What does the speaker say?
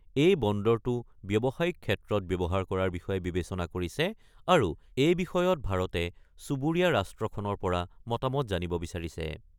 এই বন্দৰটো ব্যৱসায়িক ক্ষেত্ৰত ব্যৱহাৰ কৰাৰ বিষয়ে বিবেচনা কৰিছে আৰু এই বিষয়ত ভাৰতে চুবুৰীয়া ৰাষ্ট্ৰখনৰ পৰা মতামত জানিব বিচাৰিছে।